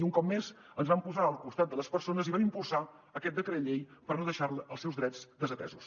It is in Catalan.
i un cop més ens vam posar al costat de les persones i vam impulsar aquest decret llei per no deixar els seus drets desatesos